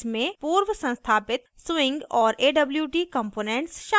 इसमें पूर्व संस्थापित swing और awt components शामिल हैं